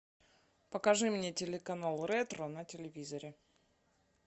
покажи мне телеканал ретро на телевизоре